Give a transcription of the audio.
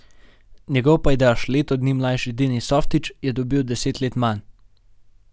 Njegov pajdaš, leto dni mlajši Denis Softić, je dobil deset let manj.